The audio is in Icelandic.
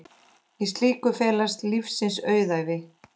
Í slíku felast lífsins auðæfi.